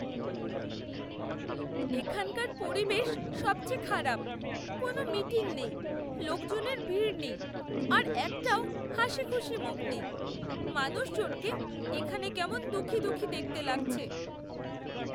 এখানকার পরিবেশ সবচেয়ে খারাপ, কোন মিটিং নেই, লোকজনের ভিড় নেই আর একটাও হাসিখুশি মুখ নেই। মানুষজনকে এখানে কেমন দুঃখী দুঃখী দেখতে লাগছে।